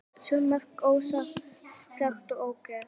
Svo margt ósagt og ógert.